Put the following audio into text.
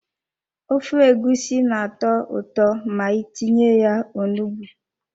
Ofe egusi na-atọ ụtọ ma itinye ya onugbu.